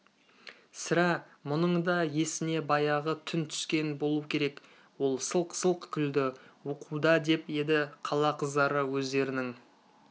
сірә мұның да есіне баяғы түн түскен болу керек ол сылқ-сылқ күлді оқуда деп еді қала қыздары өздерінің